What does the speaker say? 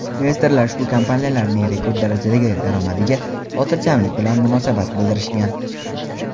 investorlar ushbu kompaniyalarning rekord darajadagi daromadiga xotirjamlik bilan munosabat bildirishgan.